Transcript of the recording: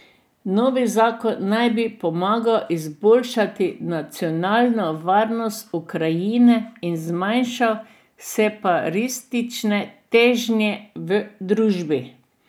Novi zakon naj bi pomagal izboljšati nacionalno varnost Ukrajine in zmanjšal separatistične težnje v družbi.